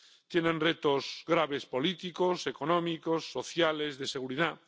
Tienen retos graves políticos, económicos, sociales, de seguridad